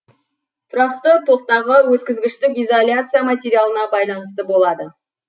тұрақты токтағы өткізгіштік изоляция материалына байланысты болады